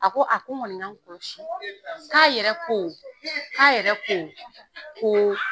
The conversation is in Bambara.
A ko a ko k'a yɛrɛ ko k'a yɛrɛ ko ko